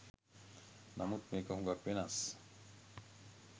නමුත් මේක හුගක් වෙනස්